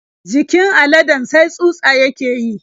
Jikin aladen sai tsutsa yake yi.